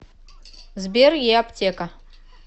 сбер еаптека